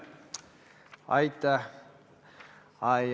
Aitäh!